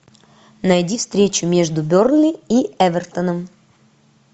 найди встречу между бернли и эвертоном